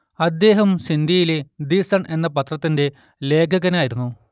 അദ്ദേഹം സിഡ്നിയിലെ the Sun എന്ന പത്രത്തിലെ ലേഖകനായിരുന്നു